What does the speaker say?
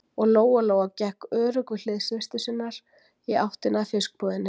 Og Lóa-Lóa gekk örugg við hlið systur sinnar í áttina að fiskbúðinni.